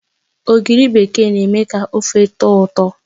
Ogiri bekee na eme ka ofe tọ̀ọ ụtọ